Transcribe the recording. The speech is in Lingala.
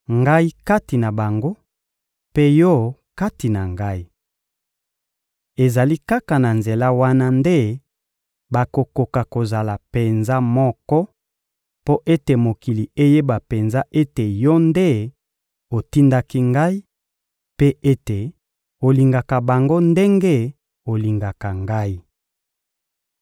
Ngai kati na bango, mpe Yo kati na Ngai. Ezali kaka na nzela wana nde bakokoka kozala penza moko, mpo ete mokili eyeba penza ete Yo nde otindaki Ngai, mpe ete olingaka bango ndenge olingaka Ngai.